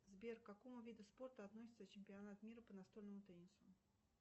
сбер к какому виду спорта относится чемпионат мира по настольному теннису